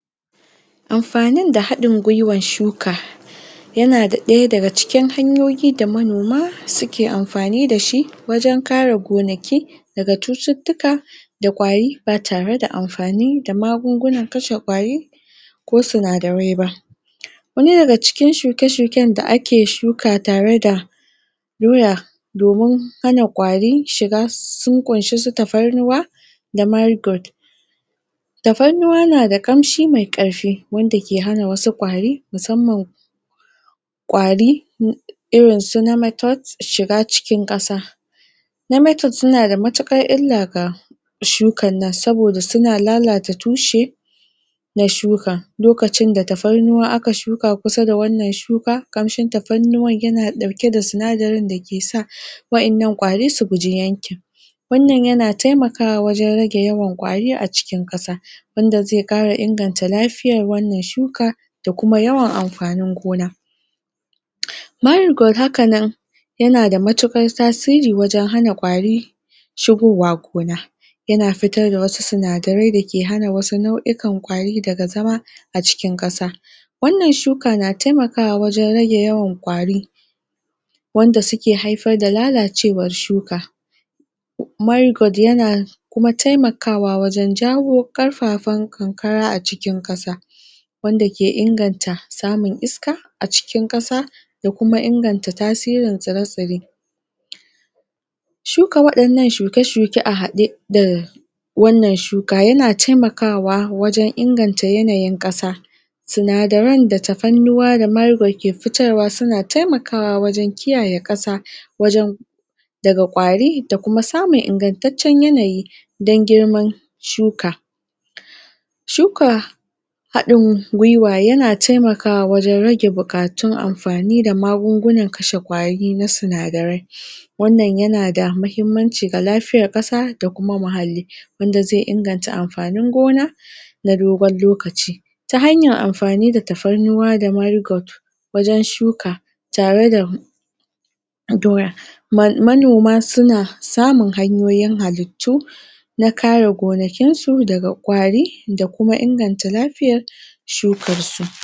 Amfanin da haɗin gwiwan shuka yana ɗaya daga cikin hanyoyi da manoma suke amfani dashi wajen kare gonaki daga cututtuka da ƙwari batareda amfani da magungunan kashe ƙwari ko sinadarai ba yana daga cikin shuke-shuken da ake shuka tare da doya domin hana ƙwari shiga sun ƙunshi su tafarnuwa da marigold tafarnuwa nada ƙamshi mai ƙarfi wanda ke hana wasu ƙwari musamman ƙwari irinsu nematode shiga cikin ƙasa Nematode sunada matuƙar illa ga shukan nan saboda tana lalata tushe na shuka lokacin da tafarnuwa aka shuk shuka kusa da wannan shuka ƙamshin tafarnuwan yana ɗauke da sinadarin da kesa wa'innan ƙwari su guji yankin. Wannan yana taimakawa wajen rage yawan ƙwari a cikin ƙasa. Wanda zai kara inganta lafiyar wannan shuka da kuma yawan amfanin gona. maigod hakanan yanada matuƙar tasiri wajen hana ƙwari shigowa gona. Yana fitar da wasu sinadarai dake hana wasu nau'ikan ƙwari daga zama a cikin ƙasa. Wannan shuka na taimakawa wajen rage yawan ƙwari wanda suke haifar da lalacewar shuka maigod yana kuma taimakawa wajen jawo ƙarfafen ƙanƙara a cikin ƙasa. wanda ke inganta samun iska a cikin ƙasa ya kuma inganta tasirin tsire-tsire. Shuka waɗannan shuke-shuke a haɗe da wannan shuka yana taimakawa wajen inganta yanayin ƙasa sinadaran da tafarnuwa da maigod ke fitarwa suna taimakawa wajen kiyaye ƙasa wajen daga ƙwari da kuma samun ingantaccen yanayi dan girman shuka. Shuka haɗin gwiwa yana taimakawa wajen rage buka tun amfani da magungunan kashe ƙwari na sinadarai wannan yanada muhimmanci ga lafiyar ƙasa da kuma muhalli wanda zai inganta amfanin gona na dogon lokaci. Ta hanyan amfani da tafarnuwa da maigod wajen shuka tareda doya manoma suna samun hanyoyin halittu na kare gonakin su daga ƙwari da kuma inganta lafiyar shukar su.